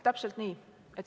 Täpselt nii.